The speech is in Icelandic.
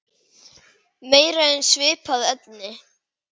Meira um svipað efni